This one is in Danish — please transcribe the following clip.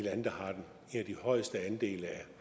jeg i de højeste andele